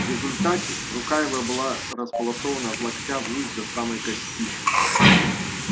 в результате рука его была располосована от локтя вниз до самой кости